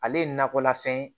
Ale ye nakɔlafɛn ye